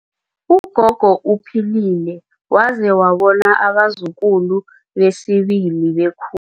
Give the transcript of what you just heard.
Ugogo uphilile waze wabona abazukulu besibili bekhu